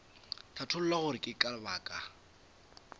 hlatholla gore ke ka baka